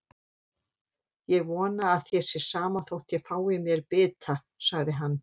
Ég vona að þér sé sama þótt ég fái mér bita, sagði hann.